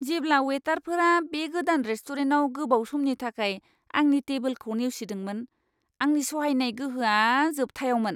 जेब्ला वेटारफोरा बे गोदान रेस्टुरेन्टाव गोबाव समनि थाखाय आंनि टेबोलखौ नेवसिदोंमोन, आंनि सहायनाय गोहोआ जोबथायावमोन!